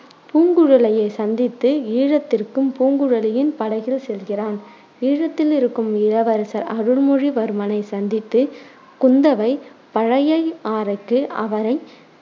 பூங்குழலியை சந்தித்து, ஈழத்திற்கும் பூங்குழலியின் படகில் செல்கிறான். ஈழத்திலிருக்கும் இளவரசர் அருள்மொழிவர்மனை சந்தித்து குந்தவை பழையையாறைக்கு அவரை